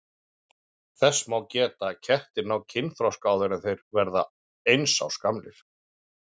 Þess má geta að kettir ná kynþroska áður en þeir verða eins árs gamlir.